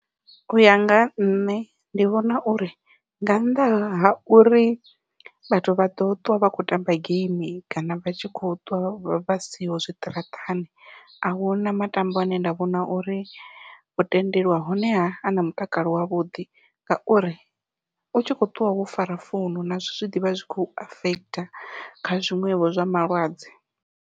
Uya nga ha nṋe ndi vhona uri nga nnḓa ha uri vhathu vha ḓo ṱwa vha kho tamba geimi kana vha tshi kho ṱwa vha siho zwiṱaraṱani ahuna matombo ane nda vhona uri wo tendelwa honeha ana mutakalo wavhuḓi ngauri u tshi kho ṱwa wo fara founu nazwo zwi ḓivha zwi kho u affect kha zwiṅwevho zwa malwadze.